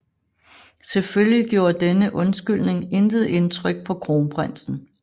Selvfølgelig gjorde denne undskyldning intet indtryk på kronprinsen